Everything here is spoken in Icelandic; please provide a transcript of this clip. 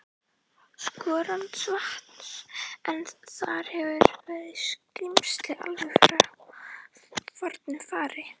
Skorradalsvatns, en þar hefur verið skrímsli alveg frá fornu fari.